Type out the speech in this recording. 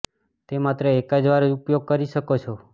તે માત્ર એક જ વાર જ ઉપયોગ કરી શકો છો